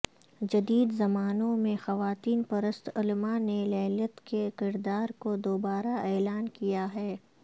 جدید زمانوں میں خواتین پرست علماء نے للیت کے کردار کو دوبارہ اعلان کیا ہے